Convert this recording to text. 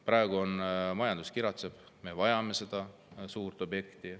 Praegu majandus kiratseb, me vajame seda suurt objekti.